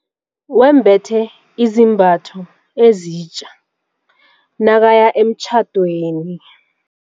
Wembethe izambatho ezitja nakaya emtjhadweni.